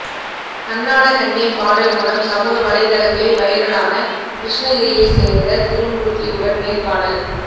கண்ணான கண்ணே பாடல் மூலம் சமூக வலைத்தளங்களில் வைரலான கிருஷ்ணகிரியைச் சேர்ந்த திருமூர்த்தியுடன் நேர்காணல்